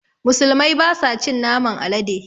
Musulmai basa cin naman alade